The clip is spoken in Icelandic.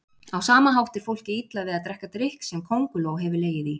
Á sama hátt er fólki illa við að drekka drykk sem könguló hefur legið í.